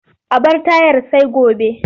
A bar tayar sai gobe.